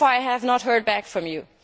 So far, I have not heard back from you.